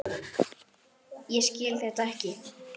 Ég skil þetta ekki.